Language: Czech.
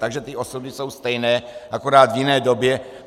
Takže ty osoby jsou stejné, akorát v jiné době.